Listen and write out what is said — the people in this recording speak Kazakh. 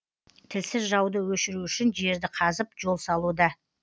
тілсіз жауды өшіру үшін жерді қазып жол салуда